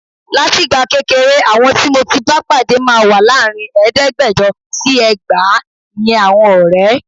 Látìgbà kékeré, àwọn tí mo ti bá pàdé máa wà láàrin ẹ̀ẹ́dẹ́gbẹ̀jọ sí ẹgbàá. Ìyẹn àwọn ọ̀rẹ́.